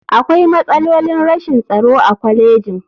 Akwai matsalolin rashin tsaro a kwalejin.